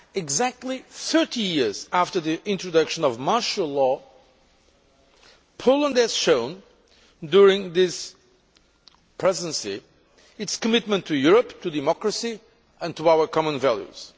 Exactly 30 years after the introduction of martial law, Poland has shown during this Presidency its commitment to Europe, to democracy and to our common values.